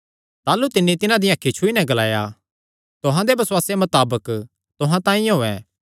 ताह़लू तिन्नी तिन्हां दियां अखीं छुई नैं ग्लाया तुहां दे बसुआसे मताबक तुहां तांई होयैं